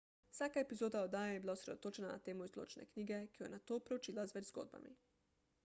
vsaka epizoda oddaje je bila osredotočena na temo iz določene knjige ki jo je nato preučila z več zgodbami